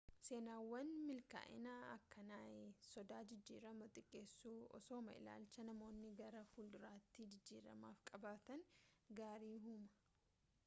seenaawwan milkaa'inaa akkanaai sodaa jijjiiramaa xiqqeessu osooma ilaalcha namoonni gara fuulduraatti jijjiramaaf qabaatan gaarii uumaa